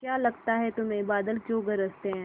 क्या लगता है तुम्हें बादल क्यों गरजते हैं